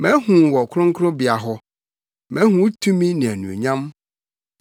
Mahu wo wɔ Kronkronbea hɔ mahu wo tumi ne wʼanuonyam.